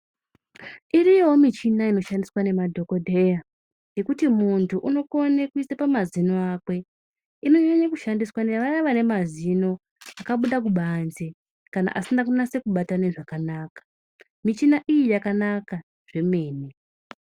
Iriyowo michina inoshandiswa ngemadhokodheya yekuti muntu unokone kuisa pamazino ake inonyanye kushandiswa ngevaye vanemazino akabude kubanze kana asina kunase kubatane zvakanaka muchina iya yakanaka zvemene.